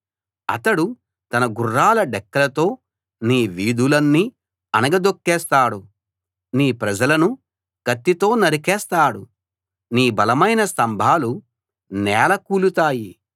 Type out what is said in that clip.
అతడు తన గుర్రాల డెక్కలతో నీ వీధులన్నీ అణగదొక్కేస్తాడు నీ ప్రజలను కత్తితో నరికేస్తాడు నీ బలమైన స్తంభాలు నేల కూలుతాయి